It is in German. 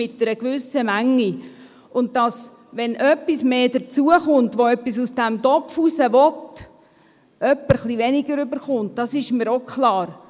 Und es ist mir auch klar, dass, wenn jemand hinzukommt, der etwas aus diesem Topf haben will, jemand anderes ein bisschen weniger bekommt.